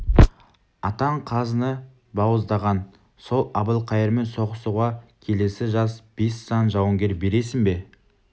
атаң қазыны бауыздаған сол әбілқайырмен соғысуға келесі жаз бес сан жауынгер бересің бе